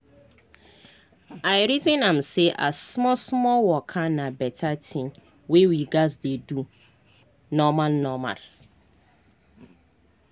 i reason am say as small small waka na beta tin wey we gas dey do normal normal